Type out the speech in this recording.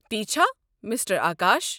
تی چھا ، مِسٹر آكاش ؟